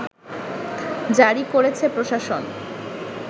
জারি করেছে প্রশাসন